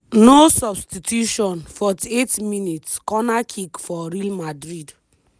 no substituion 48mins- corner kick for real madrid.